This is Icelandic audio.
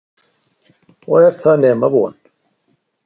Og er það nema von?